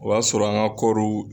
O y'a sɔrɔ an ka kɔriw.